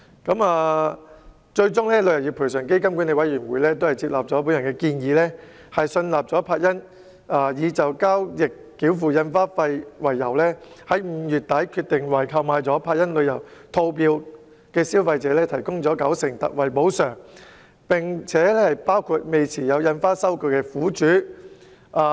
旅遊業賠償基金管理委員會最終接納了我的建議，信納柏茵已就交易繳付印花費，並在5月底決定，為購買了柏茵旅遊套票的消費者提供九成特惠補償，包括未持有印花收據的苦主。